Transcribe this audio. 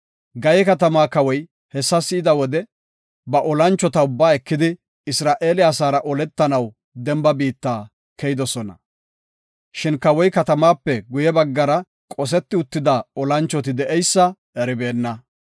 Gaye katamaa kawoy hessa be7ida wode, ba olanchota ubbaa ekidi, Isra7eele asaara oletanaw demba biitta keyidosona. Shin kawoy katamaape guye baggara qoseti uttida olanchoti de7eysa eribeenna.